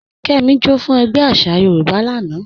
Kẹ́mí, jọ́ fún ègbé àṣà Yorùbá lána.